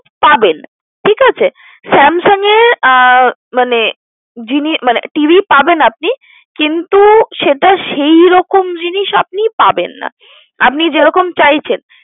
পাবেন। ঠিকাছে Samsung এর মানে যিনি মানে TV পাবেন আপনি কিন্তু সেটা সেইরকম জিনিস আপনি পাবেন না, আপনি যেরকম চাইছেন।